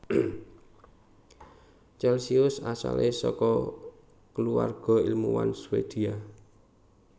Celcius asale saka kulawarga ilmuwan Swedia